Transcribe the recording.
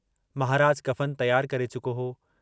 महराज कफन तियारु करे चुको हो।